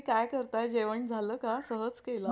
अच्छा! okay म्हणजे मला माझे पैसे refund होतील ना?